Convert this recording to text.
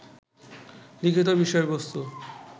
লিখিত বিষয়বস্তু